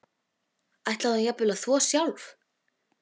Ætlaði hún jafnvel að þvo sjálf?